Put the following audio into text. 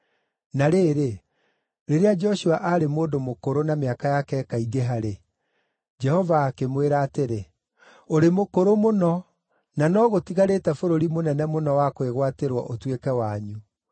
Na rĩrĩ, rĩrĩa Joshua aarĩ mũndũ mũkũrũ na mĩaka yake ĩkaingĩha-rĩ, Jehova akĩmwĩra atĩrĩ, “Ũrĩ mũkũrũ mũno, na no gũtigarĩte bũrũri mũnene mũno wa kwĩgwatĩrwo ũtuĩke wanyu.